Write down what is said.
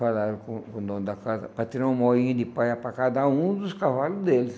Falaram com com o dono da casa para tirar um moinho de palha para cada um dos cavalos deles.